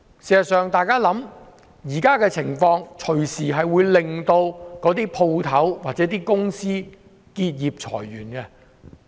事實上，現時的情況隨時會導致店鋪或公司結業、裁員。